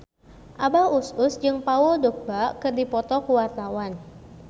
Abah Us Us jeung Paul Dogba keur dipoto ku wartawan